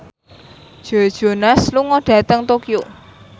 Joe Jonas lunga dhateng Tokyo